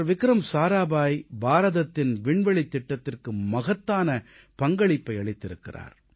விக்ரம் சாராபாய் பாரதத்தின் விண்வெளித் திட்டத்திற்கு மகத்தான பங்களிப்பை அளித்திருக்கிறார்